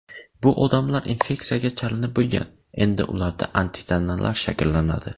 Bu odamlar infeksiyaga chalinib bo‘lgan, endi ularda antitanalar shakllanadi.